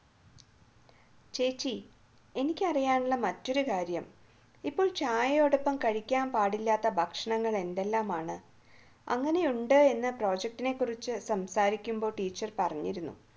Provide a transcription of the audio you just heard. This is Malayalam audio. ചേച്ചി എനിക്ക് അറിയാനുള്ള മറ്റൊരു കാര്യം ഇപ്പോൾ ചായയോടൊപ്പം കഴിക്കാൻ പാടില്ലാത്ത ഭക്ഷണങ്ങൾ എന്തെല്ലാമാണ് അങ്ങനെ ഉണ്ട് എന്ന് project നെ കുറിച്ച് സംസാരിക്കുമ്പോൾ ടീച്ചർ പറഞ്ഞിരുന്നു